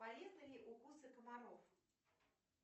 полезны ли укусы комаров